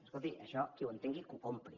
escolti això qui ho entengui que ho compri